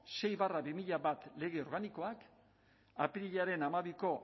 sei barra bi mila bat lege organikoak apirilaren hamabiko